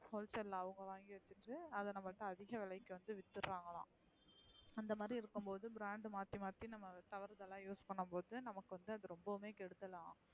Whole sale அ அவுங்க வங்கி வச்சுட்டு அதா நம்மல்ட்ட அதிக விலைக்கு வந்து வித்ரங்கலம். இந்த மாத்ரி இருக்கும் போது brand மாத்தி மாத்தி நம்ம colourcolour use பண்ணும் போது நமக்கு வந்து ரொம்பவுமே கெடுதலாம்.